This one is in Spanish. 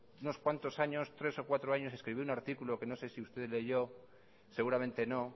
unos cuantos años tres o cuatro años escribí un artículo que no sé si usted leyó seguramente no